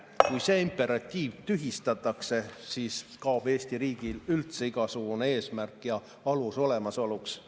Kui see imperatiiv tühistatakse, siis kaob Eesti riigil üldse igasugune eesmärk ja alus olemasoluks.